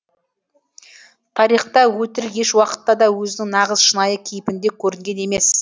тарихта өтірік еш уақытта да өзінің нағыз шынайы кейпінде көрінген емес